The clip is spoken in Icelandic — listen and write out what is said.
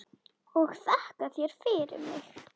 Og þakka þér fyrir mig.